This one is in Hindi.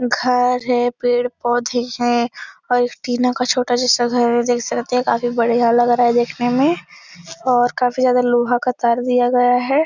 घर है पेड़ पौधे हैं और एक टीना का छोटा जैसा घर। देख सकते है काफी बढ़िया लग रहा है देखने में और काफी ज्यादा लोहा का तार दिया गया है।